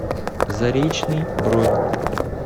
заречный бронь